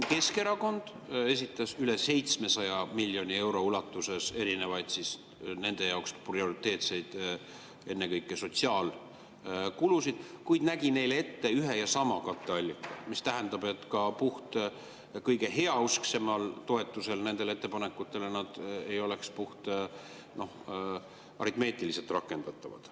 Keskerakond esitas rohkem kui 700 miljoni euro ulatuses erinevaid nende jaoks prioriteetseid, ennekõike sotsiaalkulusid, kuid nägi neile ette ühe ja sama katteallika, mis tähendab, et ka kõige heausksema toetuse korral need ettepanekud ei oleks puhtaritmeetiliselt rakendatavad.